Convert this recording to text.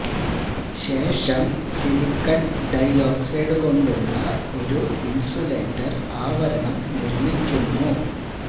ശേഷം silicon dioxide കൊണ്ടുള്ള ഒരു ഇന്സുലേറ്റർ ആവരണം നിർമ്മിക്കുന്നു